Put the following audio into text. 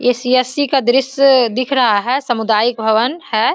ये सी.एस.सी. का दृश्य दिख रहा है सामुदायिक भवन है।